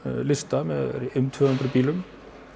lista með um tvö hundruð bílum